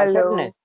અવાજ?